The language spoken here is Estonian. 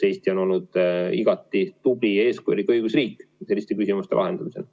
Eesti on olnud igati tubli ja eeskujulik õigusriik selliste küsimuste lahendamisel.